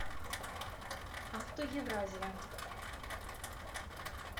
авто евразия